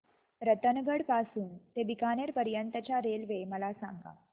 रतनगड पासून ते बीकानेर पर्यंत च्या रेल्वे मला सांगा